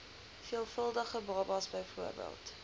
veelvuldige babas bv